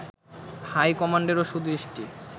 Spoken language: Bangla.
হাইকমান্ডেরও সুদৃষ্টি